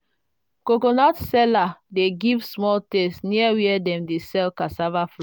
coconut oil sellers dey give small taste near where dem dey sell cassava flour.